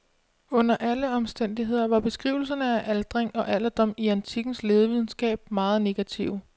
Under alle omstændigheder var beskrivelserne af aldring og alderdom i antikkens lægevidenskab meget negative.